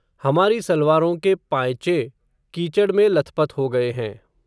हमारी सलवारों के पांयचे, कीचड में लथपथ हो गए हैं